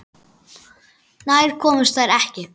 Nær komust þær ekki.